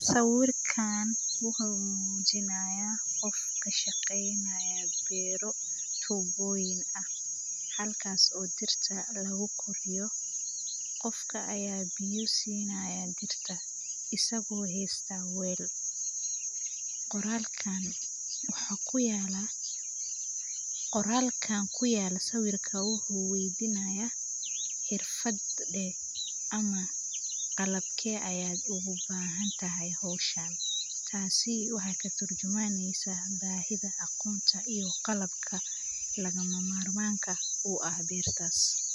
Sawirkan waxu mujinaya Qoof kashaqeynayo beera, botin aah halkasi oo dirta lafu qurxiyoh Qoofka aya biya siinaya dirta asago haystah weel qoralkan waxakuyalah sawirkan waxu weydanaya xerfadeh amah qalbke aya igabahanathay hooshan kas si turjumaneysah bahii aya aqoontaviyo qalabka lama mar marka u aah beertasi.